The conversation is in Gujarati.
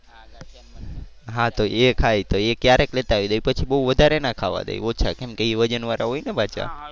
હા તો એ ખાય. તો એ ક્યારેક લેતા આવી દઈ. પછી બહુ વધારે ના ખાવા દઈ ઓછા કેમ કે એ વજન વાળા હોય ને પાછા.